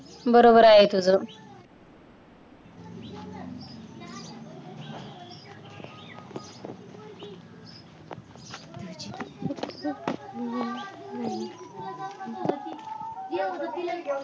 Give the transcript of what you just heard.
बरोबर आहे तुझं